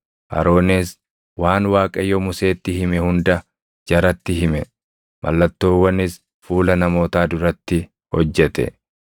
Aroonis waan Waaqayyo Museetti hime hunda jaratti hime. Mallattoowwanis fuula namootaa duratti hojjete;